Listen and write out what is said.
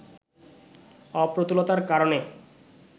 অপ্রতুলতার কারণে